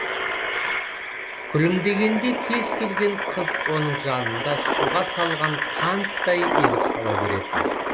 күлімдегенде кез келген қыз оның жанында суға салған қанттай еріп сала беретін